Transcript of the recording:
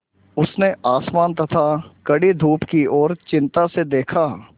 उसने आसमान तथा कड़ी धूप की ओर चिंता से देखा